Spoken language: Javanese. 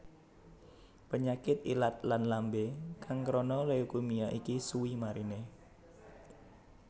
Penyakit ilat lann lambe kang krana leukemia iki suwi marine